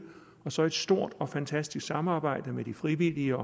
og så et stort og fantastisk samarbejde med frivillige